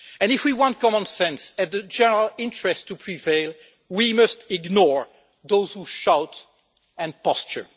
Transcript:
If we want common sense and the general interest to prevail we must ignore those who shout and posture.